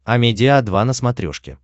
амедиа два на смотрешке